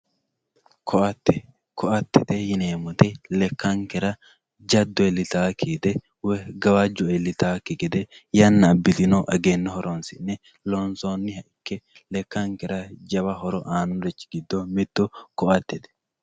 Koate, koattete yineemoti lekankera jaddo iillitayaki gede woyi gawajjo iillitayakki gede yana abitino eggeno horonsine loonsonniha ikke lekkankera jawa horo aanori gido mittu koattete